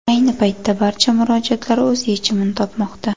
Ayni paytda barcha murojaatlar o‘z yechimini topmoqda.